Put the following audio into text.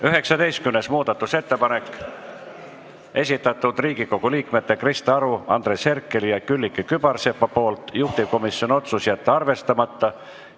19. muudatusettepanek, Riigikogu liikmete Krista Aru, Andres Herkeli ja Külliki Kübarsepa esitatud, juhtivkomisjoni otsus: jätta arvestamata.